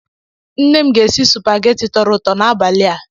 Nne m ga-esi supageti tọrọ ụtọ n'abalia